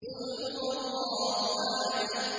قُلْ هُوَ اللَّهُ أَحَدٌ